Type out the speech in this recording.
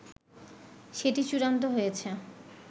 সেটি চূড়ান্ত হয়েছে